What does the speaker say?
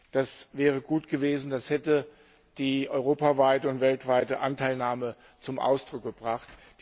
Das wäre gut gewesen, das hätte die europaweite und weltweite Anteilnahme zum Ausdruck gebracht.